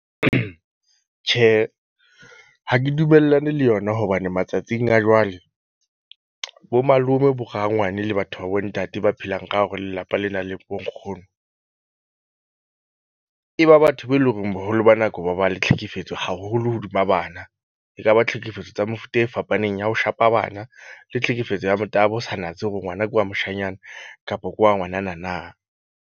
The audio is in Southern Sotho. Tjhe, ha ke dumellane le yona hobane matsatsing a jwale bo malome bo rangwane le batho ba bo ntate ba phelang ka hore lelapa le nang le bo nkgono. E ba batho be eleng horeng boholo ba nako ba ba le tlhekefetso haholo hodima bana. Ekaba tlhekefetso tsa mefuta e fapaneng ya ho shapa bana le tlhekefetso ya motabo, ho sa natse hore ngwana ke wa moshanyana kapo ke wa ngwanana na.